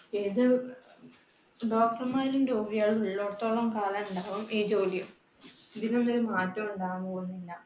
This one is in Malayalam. അതെ. doctor മാരും രോഗികളും ഉള്ളോടത്തോളം കാലം ഉണ്ടാവാം ഈ ജോലിയും. ഈ ജോലിയിൽ ഒരു മാറ്റം ഉണ്ടാകാൻ പോകുന്നില്ല